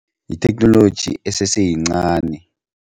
Yitheknoloji eseseyincani.